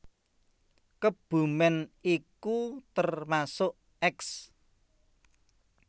Kebumen iku termasuk eks